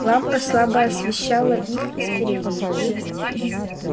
лампа слабо освещала их из передней